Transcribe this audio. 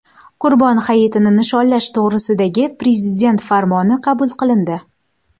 Qurbon hayitini nishonlash to‘g‘risidagi Prezident farmoni qabul qilindi.